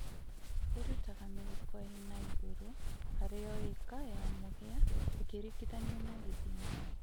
Īrutaga mĩhuko ĩna ĩgũrũ harĩ o ĩka ya mũhĩa ĩkĩringithanio na gĩthimi